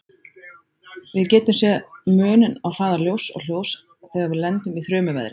Við getum sé muninn á hraða ljóss og hljóðs þegar við lendum í þrumuveðri.